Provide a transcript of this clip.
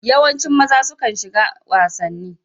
Yawancin maza sukan shiga wasanni.